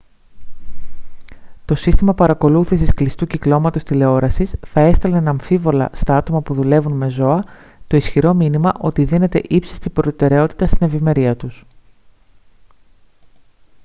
«το σύστημα παρακολούθησης κλειστού κυκλώματος τηλεόρασης θα έστελνε αναμφίβολα στα άτομα που δουλεύουν με ζώα το ισχυρό μήνυμα ότι δίνεται ύψιστη προτεραιότητα στην ευημερία τους»